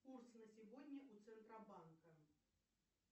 курс на сегодня у центробанка